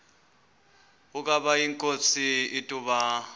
ukaba inkosi ituna